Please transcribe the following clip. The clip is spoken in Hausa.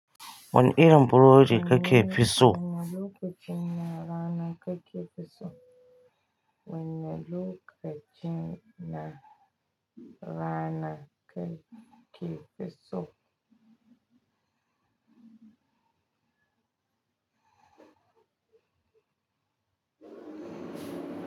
Wane irin burodi kake fi so? Wanne lokacin ne a rana kake fi so? Wanne lokacin narana kake fi so?